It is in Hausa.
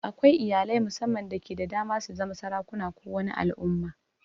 Akwai iyalai mussaman dake da dama su zama sarakuna ko wani al'umma.